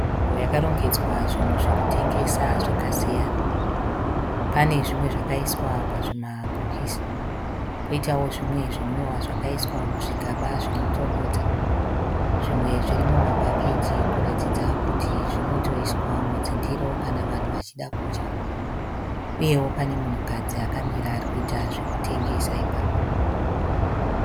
Nzvimbo yakarongedzwa zvinhu zvekutengesa zvakasiyana. Pane zvimwe zvakaiswa pazvima bokisi , poitawo zvimwe zvinwiwa zvakaiswa muzvigaba zvinotonhodza, zvimwe zviri muma bucket kuratidza kuti zvinotoiswa mundiro kana zvava kuda kudyiwa. Uye pane munhu kadzi akamira ari kuita zvekutengesa ipapo.